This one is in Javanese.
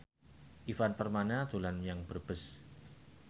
Ivan Permana dolan menyang Brebes